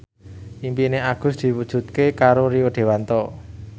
impine Agus diwujudke karo Rio Dewanto